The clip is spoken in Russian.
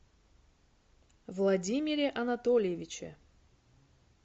владимире анатольевиче